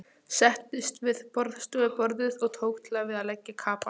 Settist við borðstofuborðið og tók til við að leggja kapal.